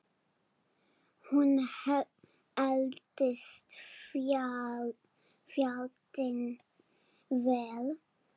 Hún eldist fjandi vel.